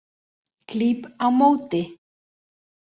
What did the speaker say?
Klíp á móti.